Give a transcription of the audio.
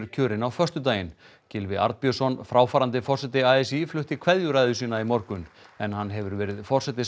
kjörin á föstudaginn Gylfi Arnbjörnsson fráfarandi forseti a s í flutti kveðjuræðu sína í morgun en hann hefur verið forseti